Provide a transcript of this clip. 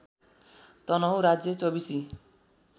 तनहुँ राज्य चौबीसी